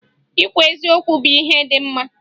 Ikwu eziokwu bụ ihe dị mma